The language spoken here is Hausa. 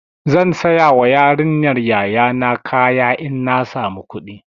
Zan sayawa yarinyar yaya na kaya in na samu kuɗi.